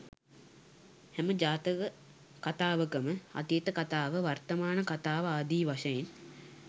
හැම ජාතක කථාවකම අතීත කථාව වර්තමාන කථාව ආදී වශයෙන්